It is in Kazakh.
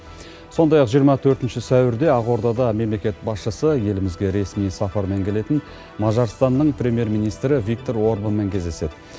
сондай ақ жиырма төртінші сәуірде ақордада мемлекет басшысы елімізге ресми сапармен келетін мажарстанның премьер министрі виктор орбанмен кездеседі